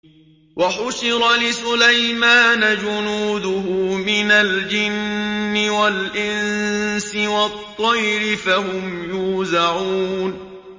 وَحُشِرَ لِسُلَيْمَانَ جُنُودُهُ مِنَ الْجِنِّ وَالْإِنسِ وَالطَّيْرِ فَهُمْ يُوزَعُونَ